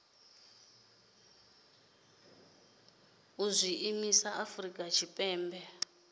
u zwi ḓisa afrika tshipembe